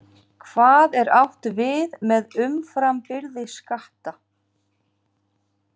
Hvað er átt við með umframbyrði skatta?